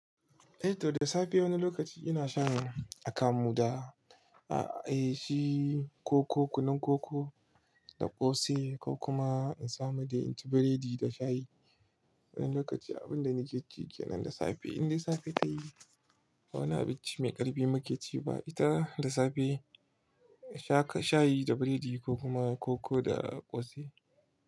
Eh to da safe wani lokaci ina sha akamu da eh shi ko koko, kunun koko da ƙosai ko kuma in samu dai in ci biredi da shayi. Wani lokaci abun da ni ke jigina da safe, in dai safe tayi wani abinci mai ƙarfi muke ci ba ita da safe shayi da biredi ko kuma koko da ƙosai.